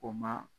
O ma